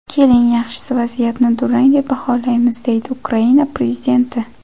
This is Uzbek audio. Keling, yaxshisi vaziyatni durrang deb baholaymiz”, deydi Ukraina prezidenti.